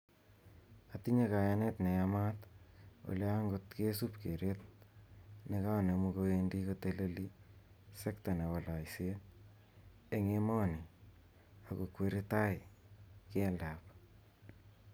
Atinye kayanet ne yamat ole angot kesup kereet ne kanemu kowendi koteleli sekta nebo loiseet eng emoni ak kokweri tai keldab.